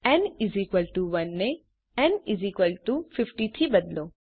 ન 1 ને ન 50 થી બદલો